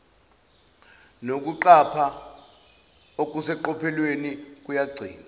nokuqapha okuseqophelweni kuyagcinwa